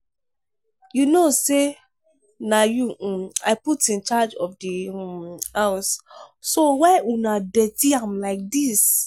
you no say na you um i put in charge of the um house so why una dirty am like dis?